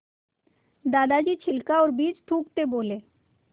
दादाजी छिलका और बीज थूकते बोले